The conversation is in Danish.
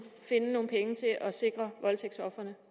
finde nogle penge til at sikre voldtægtsofre